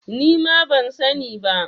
Nima ban sani ba.